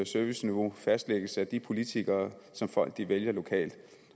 serviceniveau fastlægges af de politikere som folk vælger lokalt